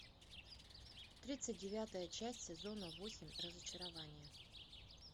тридцать девятая часть сезона восемь разочарование